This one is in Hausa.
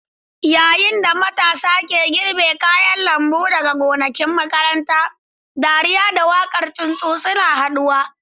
Yayin da matasa ke girbe kayan lambu daga gonakin makaranta, dariya da waƙar tsuntsu suna haɗuwa.